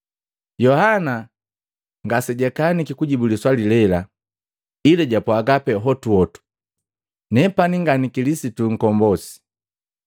Yohana ngasejakaniki kujibu liswali lela, ila japwaga pee hotuhotu, “Nepani nga ni Kilisitu nkombosi?”